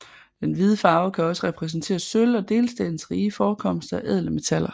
Den hvide farve kan også repræsentere sølv og delstatens rige forekomster af ædle metaller